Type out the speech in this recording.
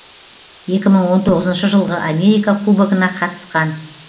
екі мың он тоғызыншы жылғы америка кубогына қатысқан